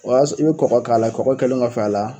o y'a s i bɛ kɔkɔ k'a la, kɔkɔ kɛlen kɔfɛ a la